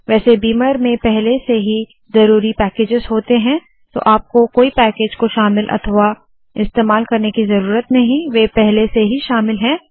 वैसे बीमर में पहले से है ज़रूरी पैकेजस होते है तो आपको कोई पैकज को शामिल अथवा इस्तेमाल करने की ज़रूरत नहीं वे पहले से ही शामिल है